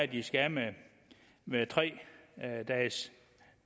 de skal af med med tre dages